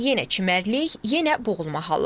Yenə çimərlik, yenə boğulma halları.